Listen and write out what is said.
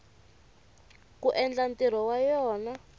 ku endla ntirho wa yona